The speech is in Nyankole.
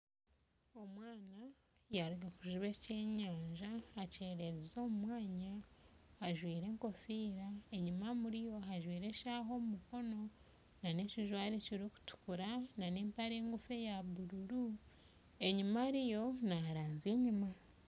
Omwana yaruga kujuba eky'enyaja akyererize omu mwanya ajwaire enkofiira enyuma ajwaire eshaaha omu mukono nana ekijwaro ekirikutukura nana empare ngufu eyabururu enyuma ariyo naranzya enyuma